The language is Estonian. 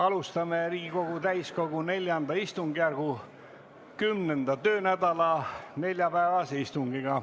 Alustame Riigikogu täiskogu IV istungjärgu 10. töönädala neljapäevast istungit.